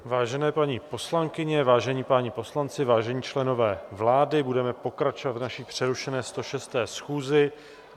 Vážené paní poslankyně, vážení páni poslanci, vážení členové vlády, budeme pokračovat v naší přerušené 106. schůzi.